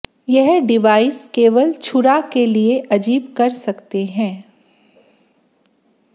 यह डिवाइस केवल छुरा के लिए अजीब कर सकते हैं